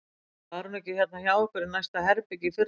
Var hún ekki hérna hjá okkur í næsta herbergi í fyrradag?